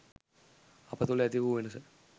අප තුළ ඇති වූ වෙනස